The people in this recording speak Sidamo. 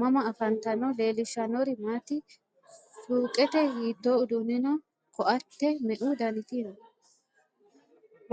mama affanttanno? leelishanori maati? suqete hito uduni no ? koate meu daniti no?